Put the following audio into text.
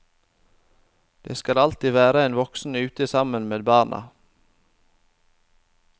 Det skal alltid være en voksen ute sammen med barna.